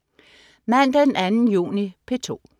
Mandag den 2. juni - P2: